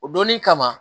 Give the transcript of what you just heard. O donni kama